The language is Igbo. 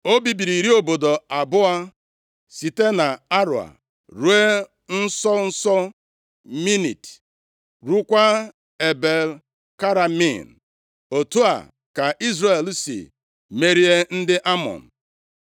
O bibiri iri obodo abụọ site nʼAroea ruo nso nso Minit, ruokwa Ebel-Keramim. Otu a ka Izrel si merie ndị Amọn.